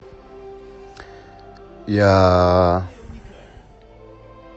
я